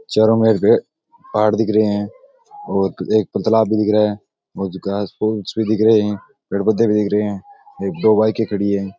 चारो मेर भ पहाड़ दिख रहे है और एक पुतला भी दिख रहा है और घास फूस भी दिख रहे है पेड़ पौधे भी दिख रहे है दो बाइके खड़ी है।